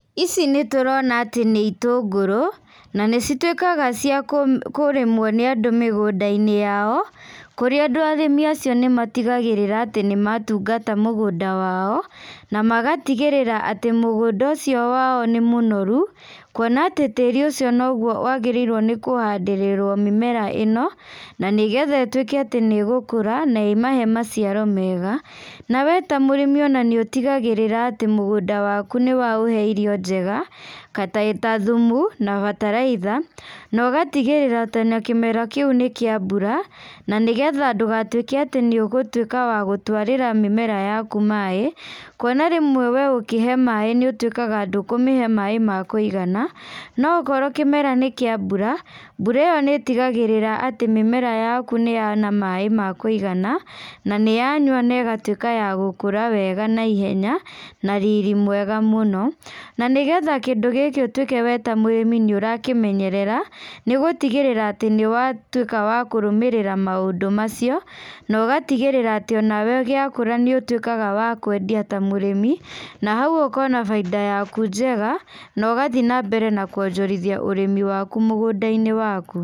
Ici nĩtũrona atĩ nĩ itũngũrũ, na nĩcituĩkaga cia kũ kũrĩmwo nĩandũ mĩgũndainĩ yao, kũrĩa andũ arĩmi acio nĩmatigagĩrĩra atĩ nĩmatungata mũgũnda wao, na magatigĩrĩra atĩ mũgũnda ũcio wao nĩ mũnoru, kuona atĩ tĩri ũcio noguo wagĩrĩirwo nĩkũhandĩrĩrwo mĩmera ĩno, na nĩgetha ĩtuĩke atĩ nĩgũkũra na ĩmahe maciaro mega, na we ta mũrĩmi ona nĩũtigagĩrĩra atĩ mũgũnda waku nĩwaũhe irio njega, ta thumu, na bataraitha, na ũgatigĩrĩra atĩ ona kĩmera kĩũ nĩ kĩa mbura, na nĩgetha ndũgatuĩke atĩ nĩ ũgũtuĩka wa gũtwarĩra mĩmera yaku maĩ, kuona rĩmwe we ũkĩhe maĩ nĩũtuĩkaga ndũkũmĩhe maĩ ma kũigana, no okorwo kĩmera nĩ kĩa mbura, mbura ĩyo nĩtigagĩrĩra atĩ mĩmera yaku nĩyona maĩ ma kũĩgana, na nĩyanyua na ĩgatuĩka ya gũkũra wega naihenya na riri mwega mũno, na nĩgetha kĩndũ gĩkĩ ũtuĩke we ta mũrĩmi nĩũrakĩmenyerera, nĩũgũtigĩrĩra atĩ nĩwatuĩka wa kũrũmĩrĩra maũndũ macio, na ũgatigĩrĩra onawe gĩakũra nĩũtuĩkaga wa kwendia ta mũrimi, na hau ũkona bainda yaku njega, na ũgathiĩ nambere na kuonjorithia ũrĩmi waku mũgũndainĩ waku.